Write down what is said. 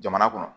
Jamana kɔnɔ